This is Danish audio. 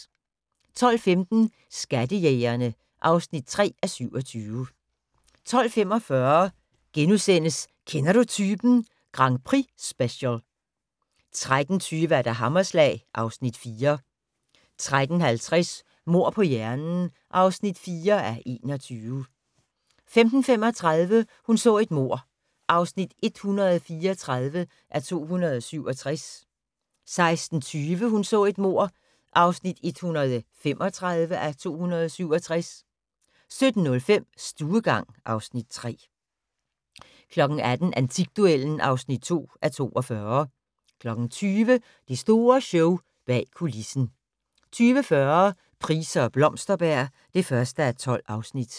12:15: Skattejægerene (3:27) 12:45: Kender Du Typen? Grand Prix-special * 13:20: Hammerslag (Afs. 4) 13:50: Mord på hjernen (4:21) 15:35: Hun så et mord (134:267) 16:20: Hun så et mord (135:267) 17:05: Stuegang (Afs. 3) 18:00: Antikduellen (2:42) 20:00: Det store show – bag kulissen 20:40: Price og Blomsterberg (1:12)